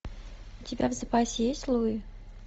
у тебя в запасе есть луи